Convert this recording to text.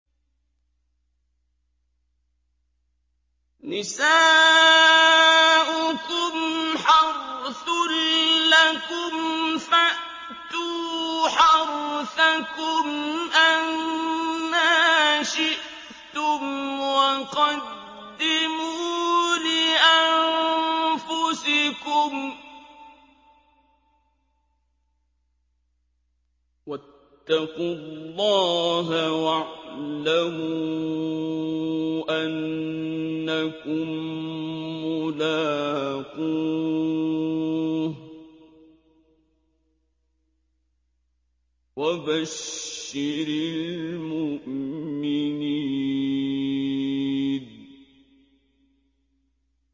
نِسَاؤُكُمْ حَرْثٌ لَّكُمْ فَأْتُوا حَرْثَكُمْ أَنَّىٰ شِئْتُمْ ۖ وَقَدِّمُوا لِأَنفُسِكُمْ ۚ وَاتَّقُوا اللَّهَ وَاعْلَمُوا أَنَّكُم مُّلَاقُوهُ ۗ وَبَشِّرِ الْمُؤْمِنِينَ